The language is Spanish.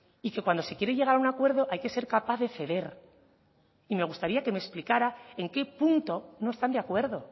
y que cuando se quiere llegar a un acuerdo hay que ser capaz de ceder y me gustaría que me explicara en qué punto no están de acuerdo